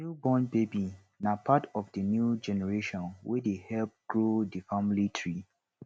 new born baby na part of di new generation wey dey help grow di family tree